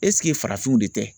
farafinw de tɛ ?